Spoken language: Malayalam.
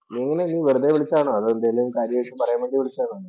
വെറുതെ വിളിച്ചതാണോ? അതോ എന്തെങ്കിലും കാര്യായിട്ട് പറയാൻ വേണ്ടി വിളിച്ചതാണോ?